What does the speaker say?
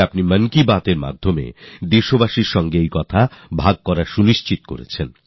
আপনি মনের কথার মাধ্যমে দেশবাসীর কাছে একথা শেয়ার করার সিদ্ধান্ত নিয়েছেন